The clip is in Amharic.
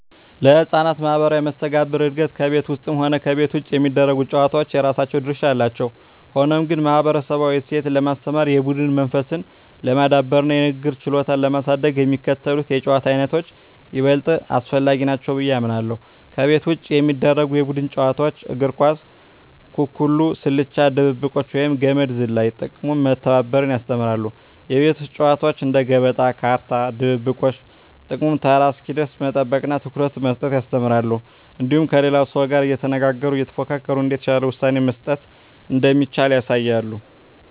ለሕፃናት ማኅበራዊ መስተጋብር እድገት ከቤት ውስጥም ሆነ ከቤት ውጭ የሚደረጉ ጨዋታዎች የራሳቸው ድርሻ አላቸው። ሆኖም ግን፣ ማኅበረሰባዊ እሴትን ለማስተማር፣ የቡድን መንፈስን ለማዳበርና የንግግር ችሎታን ለማሳደግ የሚከተሉት የጨዋታ ዓይነቶች ይበልጥ አስፈላጊ ናቸው ብዬ አምናለሁ፦ ከቤት ውጭ የሚደረጉ የቡድን ጨዋታዎች እግር ኳስ፣ ኩኩሉ፣ ስልቻ ድብብቆሽ፣ ወይም ገመድ ዝላይ። ጥቅሙም መተባበርን ያስተምራሉ። የቤት ውስጥ ጨዋታዎች እንደ ገበጣ፣ ካርታ፣ ድብብቆሽ… ጥቅሙም ተራ እስኪደርስ መጠበቅንና ትኩረት መስጠትን ያስተምራሉ። እንዲሁም ከሌላው ሰው ጋር እየተነጋገሩና እየተፎካከሩ እንዴት የተሻለ ውሳኔ መስጠት እንደሚቻል ያሳያሉ።